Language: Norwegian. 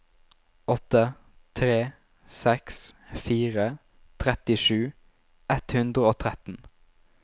åtte tre seks fire trettisju ett hundre og tretten